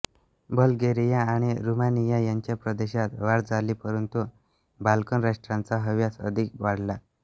Bulgaria आणि Romania यांच्या प्रदेशात वाढ झाली परंतु बाल्कन राष्ट्रांचा हव्यास अधिक वाढला